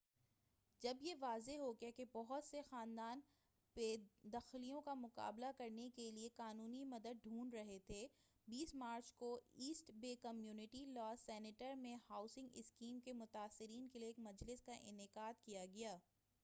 جب یہ واضح ہوگیا کہ بہت سے خاندان بے دخلیوں کا مُقابلہ کرنے کے لیے قانونی مدد ڈھونڈ رہے تھے 20 مارچ کو East Bay Community Law Center میں ہاوسنگ اسکیم کے متاثرین کے لیے ایک مجلس کا انعقاد کیا گیا